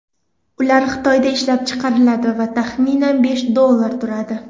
Ular Xitoyda ishlab chiqariladi va taxminan besh dollar turadi.